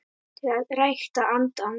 til að rækta andann